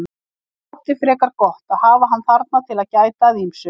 Það þótti frekar gott að hafa hann þarna til að gæta að ýmsu.